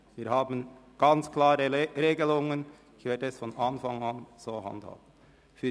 Wir haben klare Regelungen, die ich von Anfang an anwenden werde.